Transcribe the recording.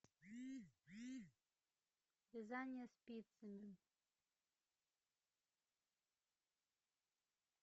вязание спицами